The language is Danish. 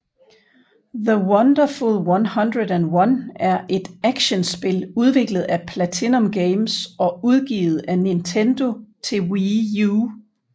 The Wonderful 101 er et actionspil udviklet af PlatinumGames og udgivet af Nintendo til Wii U